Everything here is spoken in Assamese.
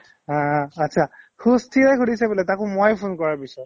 আ আ achcha সুস্থিৰে সুধিছে বোলে তাকো মই ফোন কৰাৰ পিছত